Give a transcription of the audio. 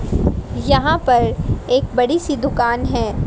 यहां पर एक बड़ी सी दुकान है।